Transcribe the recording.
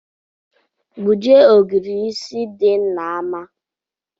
Gbujie ogirisi di n’ama